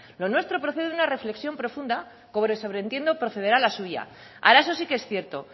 lo nuestro procede de una reflexión profunda como sobreentiendo procederá la suya ahora eso sí que es cierto